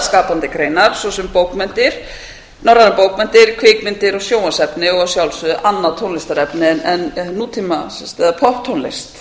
skapandi greinar svo sem bókmenntir norrænar bókmenntir kvikmyndir og sjónvarpsefni og að sjálfsögðu annað tónlistarefni en nútíma eða popptónlist